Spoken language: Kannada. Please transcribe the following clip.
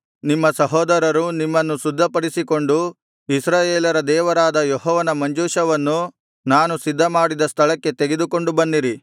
ನಿಮ್ಮ ಸಹೋದರರೂ ನಿಮ್ಮನ್ನು ಶುದ್ಧಿಪಡಿಸಿಕೊಂಡು ಇಸ್ರಾಯೇಲರ ದೇವರಾದ ಯೆಹೋವನ ಮಂಜೂಷವನ್ನು ನಾನು ಸಿದ್ಧಮಾಡಿದ ಸ್ಥಳಕ್ಕೆ ತೆಗೆದುಕೊಂಡು ಬನ್ನಿರಿ